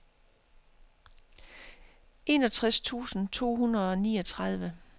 enogtres tusind to hundrede og niogtredive